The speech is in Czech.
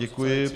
Děkuji.